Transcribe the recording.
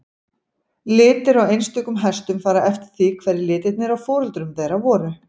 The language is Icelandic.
Litir á einstökum hestum fara eftir því hverjir litirnir á foreldrum þeirra voru.